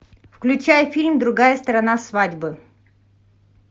включай фильм другая сторона свадьбы